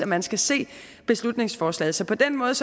man skal se beslutningsforslaget så på den måde